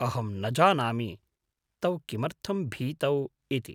अहं न जानामि तौ किमर्थं भीतौ इति।